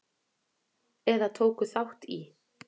eða tóku þátt í.